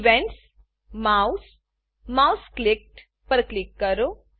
events mouse mouse clicked પર click કરો